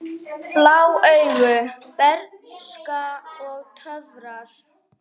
Blá augu, bernska og töfrar